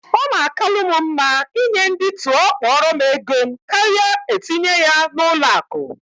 Ọ na akalu m mma ị nye ndị tụọ kpọrọ égo m karịa etinye ya na ụlọ akụ